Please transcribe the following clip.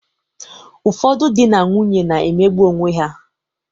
Ụfọdụ dị na nwunye na-emegbụ onweha.